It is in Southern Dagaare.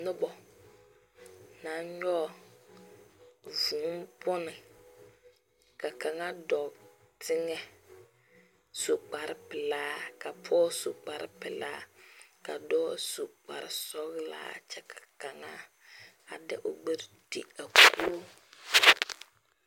Noba naŋ nyɔge vuu bonne ka kaŋa dɔɔ teŋɛ su kparepelaa ka pɔge su kparepelaa ka dɔɔ su kparesɔglaa kyɛ ka kaŋa a de o gbɛre ti a koge.